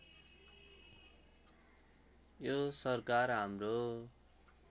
यो सरकार हाम्रो